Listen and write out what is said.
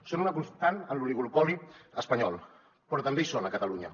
són una constant en l’oligopoli espanyol però també hi són a catalunya